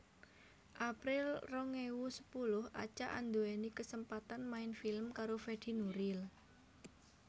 April rong ewu sepuluh Acha anduweni kesempatan main film karo Fedi Nuril